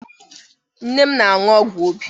Nne m na-aṅụ ọgwụ obi.